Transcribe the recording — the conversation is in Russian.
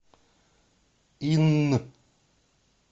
инн